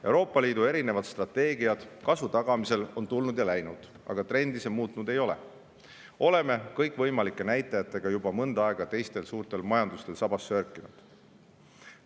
Euroopa Liidu erinevad strateegiad kasvu tagamiseks on tulnud ja läinud, aga trendi see muutnud ei ole – oleme kõikvõimalike näitajatega juba mõnda aega teistel suurtel majandustel sabas sörkinud.